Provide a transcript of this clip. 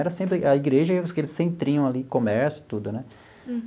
Era sempre a igreja e aqueles centrinho ali, comércio e tudo, né?